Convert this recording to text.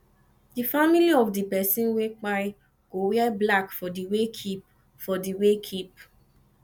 di family of di pesin wey kpai go wear black for di wakekeep for di wakekeep